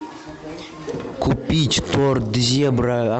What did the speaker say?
купить торт зебра